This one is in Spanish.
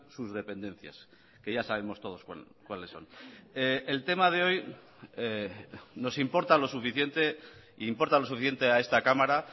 sus dependencias que ya sabemos todos cuáles son el tema de hoy nos importa lo suficiente e importa lo suficiente a esta cámara